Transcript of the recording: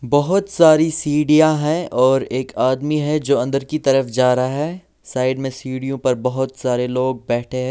बहुत सारी सीढ़ियां हैं और एक आदमी है जो अंदर की तरफ जा रहा है साइड में सीढ़ियों पर बहुत सारे लोग बैठे हैं।